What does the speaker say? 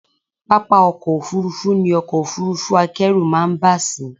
Pápá ọkọ́ Òfurufú ni ọkọ̀ Òfurufú akẹ́rù máa ń bà sí.